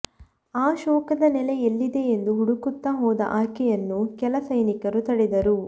ಆ ಶೋಕದ ನೆಲೆ ಎಲ್ಲಿದೆ ಎಂದು ಹುಡುಕುತ್ತಾ ಹೋದ ಆಕೆಯನ್ನು ಕೆಲ ಸೈನಿಕರು ತಡೆದರು